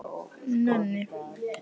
Nenni